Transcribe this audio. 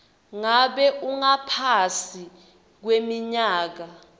ngabe ungaphasi kweminyaka